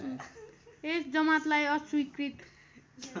यस जमातलाई अस्वीकृत